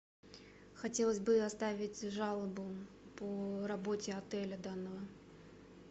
хотелось бы оставить жалобу по работе отеля данного